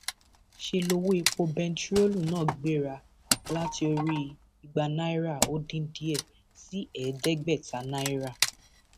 ṣe lowó epo bẹntiróòlù náà gbéra láti orí ìgbà náírà ó dín díẹ sí ẹẹdẹgbẹta náírà